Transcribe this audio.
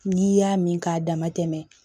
N'i y'a min k'a dama tɛmɛ